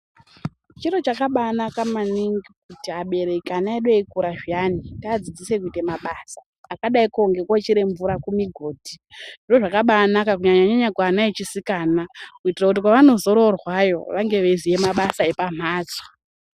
Chiro chakabanaka maningi kuti abereki ana edu eikura zviyani , tiadzidzise kuita mabasa akadaiko ngekochera mvura kumigodhi zviro zvakabanaka kunyanyanya kuana echisikana kuitira kuti kwavanozororwayo vange veiziya mabasa epamhatso.